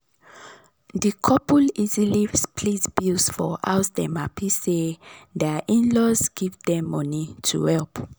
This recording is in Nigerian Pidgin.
d couple easily split bills for house dem happy say dir in-laws give dem money to help.